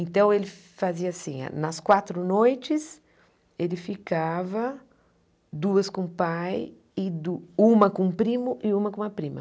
Então ele fazia assim, nas quatro noites ele ficava duas com o pai e du uma com o primo e uma com a prima.